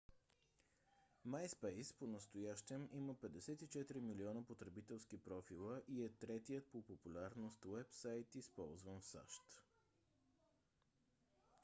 myspace понастоящем има 54 милиона потребителски профила и е третият по популярност уебсайт използван в сащ